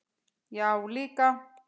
Já, líka.